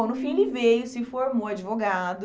Bom, no fim, ele veio, se formou advogado,